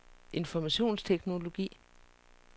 informationsteknologi